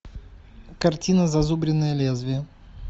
картина зазубренное лезвие